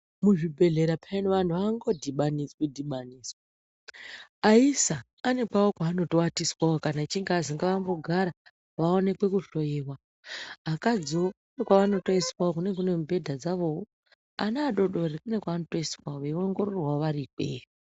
Muzvibhehleya peyani vantu avango dhibanidzwi dhibanidzwi aisa anepawo panowatiswa kana achinge azwi ngambogara vaonekwe kuhloiwa akadziwo anekwanoisa kunenge kunemubhedha dzavowo ana adodori kune kwavanotoiswawo veiongororwa vari ikweyo.